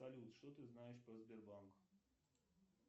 салют что ты знаешь про сбербанк